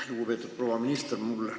Lugupeetud proua minister!